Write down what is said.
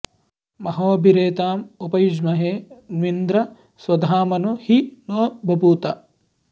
महो॑भि॒रेता॒ँ उप॑ युज्महे॒ न्विन्द्र॑ स्व॒धामनु॒ हि नो॑ ब॒भूथ॑